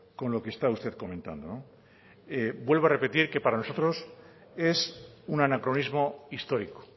con lo que está usted comentando vuelvo a repetir que para nosotros es un anacronismo histórico